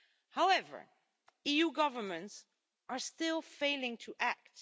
However, EU governments are still failing to act.